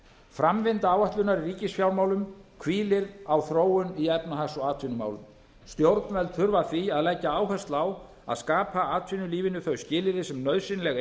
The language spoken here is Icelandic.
framvinda áætlunar í ríkisfjármálum hvílir á þróun í efnahags og atvinnumálum stjórnvöld þurfa því að leggja áherslu á að skapa atvinnulífinu þau skilyrði sem nauðsynleg